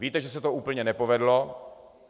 Víte, že se to úplně nepovedlo.